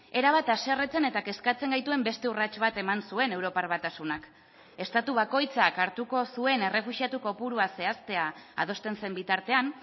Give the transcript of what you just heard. erabat haserretzen eta kezkatzen gaituen beste urrats bat eman zuen europar batasunak estatu bakoitzak hartuko zuen errefuxiatu kopurua zehaztea adosten zen bitartean